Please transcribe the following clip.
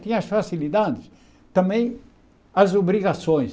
Tinha as facilidades, também as obrigações.